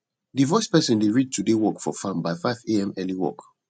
the voice person dey read today work for farm by 5am early work